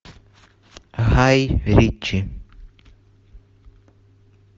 гай ричи